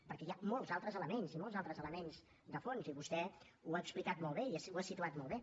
perquè hi ha molts altres elements i molts altres elements de fons i vostè ho ha explicat molt bé i ho ha situat molt bé